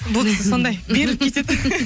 бұл кісі сондай беріліп кетеді